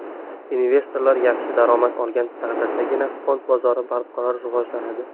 Investorlar yaxshi daromad olgan taqdirdagina fond bozori barqaror rivojlanadi.